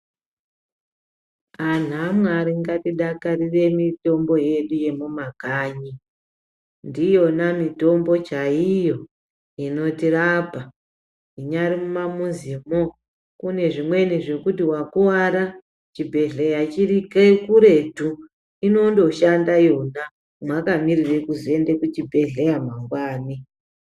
Anhu aMwari ngatidakarire mitombo yedu yemumakanyi. Ndiyona mitombo chaiyo inotirapa. Munyari kumamuzimo, kune zvimweni zvekuti wakuwara, chibhedhleya chiri kuretu, inondoshanda yona makamirire kuzoende kuchibhedhleya mangwani.